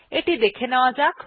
এটি দেখে নেওয়া যাক